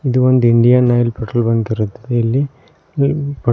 ಇದು ಒಂದು Indian Oil petrol bank ಇರುತ್ತದೆ ಇಲ್ಲಿ ಇಲ್ಲಿ--